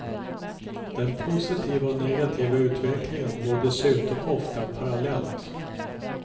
Den positiva och negativa utvecklingen går dessutom ofta parallellt.